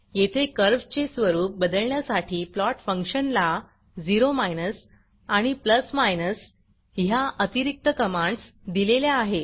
येथे कर्व्हचे स्वरूप बदलण्यासाठी प्लॉट फंक्शनला ओ आणि ह्या अतिरिक्त कमांडस दिलेल्या आहेत